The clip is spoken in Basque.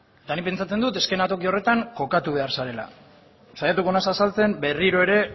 eta nik pentsatzen dut eszenatoki horretan kokatuko behar zarela saiatuko naiz berriro ere